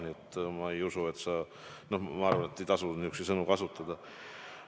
Ma seda ei usu ja arvan, et ei tasu niisuguseid sõnu kasutada.